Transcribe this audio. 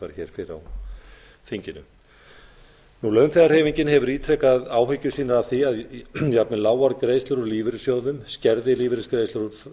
hér fyrr á þinginu launþegahreyfingin hefur ítrekað áhyggjur sínar af því að jafnvel lágar greiðslur úr lífeyrissjóðum skerði lífeyrisgreiðslur